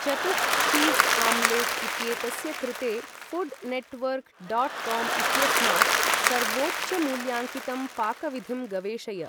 चतुः cheese omelette इत्येतस्य कृते फुड् नॆट्वर्क डाट् काम् इत्यस्मात् सर्वोच्चमूल्याङ्कितं पाकविधिं गवेषय